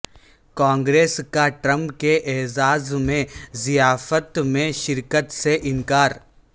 کانگریس کا ٹرمپ کے اعزاز میں ضیافت میں شرکت سے انکار